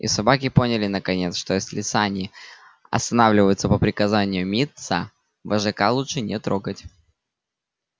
и собаки поняли наконец что если сани останавливаются по приказанию мит са вожака лучше не трогать